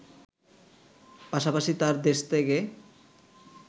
পাশাপাশি তার দেশত্যাগে